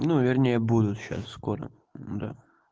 ну вернее будут сейчас скоро да